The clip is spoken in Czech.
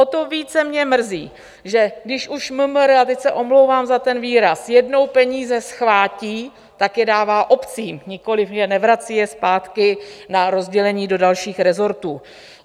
O to více mě mrzí, že když už MMR, a teď se omlouvám za ten výraz, jednou peníze schvátí, tak je dává obcím, nikoliv nevrací je zpátky na rozdělení do dalších resortů.